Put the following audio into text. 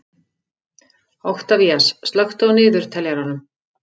Oktavías, slökktu á niðurteljaranum.